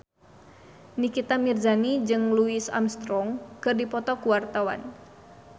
Nikita Mirzani jeung Louis Armstrong keur dipoto ku wartawan